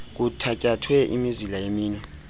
kuthatyathwe imizila yeminwe